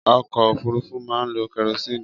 Ọkọ òfúrufú máa ń lo kerosini